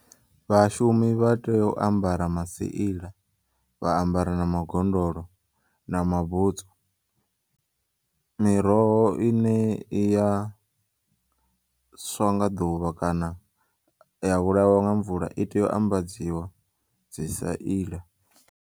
Vhashumi vhatea u ambara maseila vha ambara namagondolo namabutsu, miroho ine iya swa nga ḓuvha kana ya vhulawa nga mvula iteya u ambadziwa dzi saila.